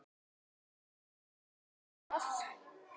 Ekki finnst mér það.